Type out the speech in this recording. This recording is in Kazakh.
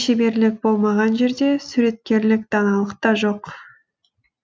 шеберлік болмаған жерде суреткерлік даналық та жоқ